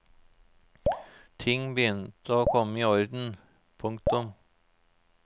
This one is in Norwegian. Ting begynte å komme i orden. punktum